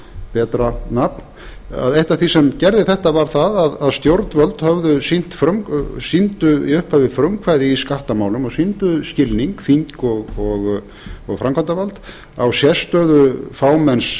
betra nafn eitt af því sem gerði þetta var það að stjórnvöld höfðu sýnt sýndu í upphafi frumkvæði í skattamálum og sýndu skilning þing og framkvæmdarvald á sérstöðu fámenns